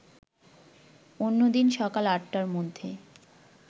অন্যদিন সকাল ৮টার মধ্যে